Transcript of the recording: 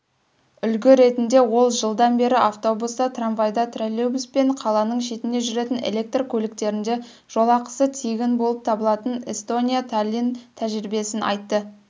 үлгі ретінде ол жылдан бері автобуста трамвайда троллейбус пен қаланың шетіне жүретін электр көліктерінде жолақысы тегін болып табылатын эстония-таллин тәжірибесін айтты